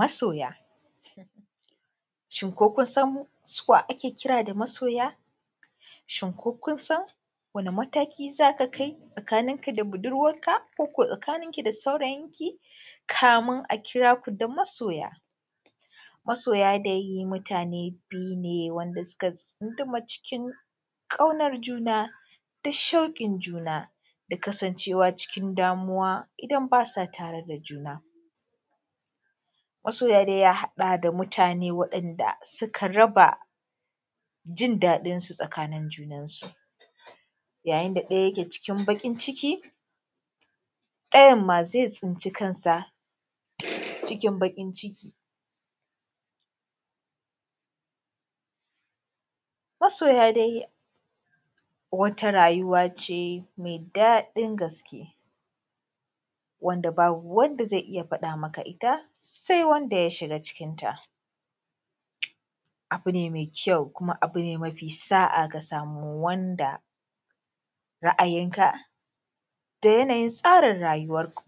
Masoya, shin ko kunsan su wa ake kira da Masoya? Shin ko kun dan wani mataki zaka kai tsakaninka da budurwanka? Ko ko tsakaninki da saurayinki? Kamun a kiraku da masoya masoya dai mutane biyu ne, wanda suka tsunduma cikin ƙaunan juna, da shauƙin juna, da kasancewa cikin damuwa idan basa tare da juna. Masoya dai ya haɗa da mutane waɗanda suka raba jin daɗin tsakanin junansu, yayin da ɗaya yake cikin baƙin ciki, ɗayanma zai tsinci kansa cikin baƙin ciki. Masoya dai wata rayuwa ce mai daɗin gaske, wanda babu wanda zai iya faɗa maka ita sai wanda ya shiga cikinta, abu ne mai kyau, kuma abu ne mafi sa’a ka samu wanda ra’ayinka da yana yin tsarin rayuwarku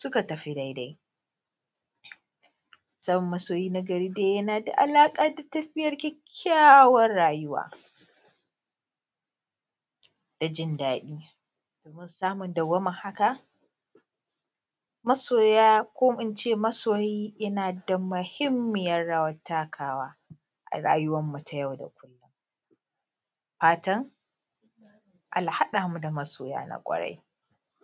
suka tafi daidai. Samun masoyi na gari yana da alaƙa da tafiyar kyakkyawar rayuwa, da jin daɗi,, domin samun dawwamar haka, masoya ko ince masoyi yana da mahimmiyar rawar takawa a rayuwarmu ta yau da kullum. Fatan Allah ya haɗamu da masoya na kwarai.